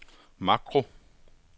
makro